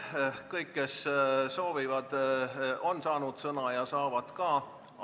Kõik, kes soovivad, on sõna saanud ja saavad ka edaspidi.